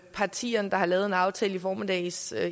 partierne der har lavet en aftale i formiddags